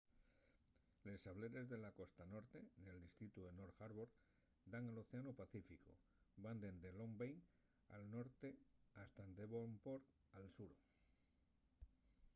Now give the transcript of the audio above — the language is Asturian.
les sableres de la costa norte nel distritu de north harbour dan al océanu pacíficu; van dende long bay al norte hasta devonport al sur